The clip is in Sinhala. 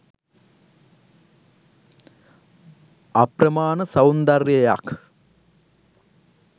අප්‍රමාණ සෞන්දර්යයක්